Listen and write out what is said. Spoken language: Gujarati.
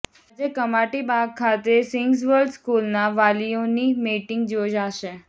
આજે કમાટીબાગ ખાતે સિગ્નસ વર્લ્ડ સ્કૂલના વાલીઓની મીટિંગ યોજાશે